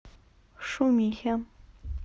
шумихе